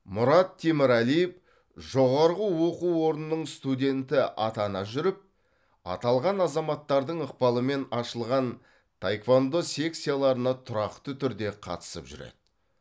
мұрат темірәлиев жоғарғы оқу орнының студенті атана жүріп аталған азаматтардың ықпалымен ашылған таеквондо секцияларына тұрақты түрде қатысып жүреді